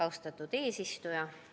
Austatud eesistuja!